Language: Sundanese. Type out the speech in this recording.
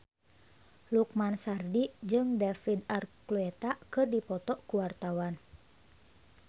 Lukman Sardi jeung David Archuletta keur dipoto ku wartawan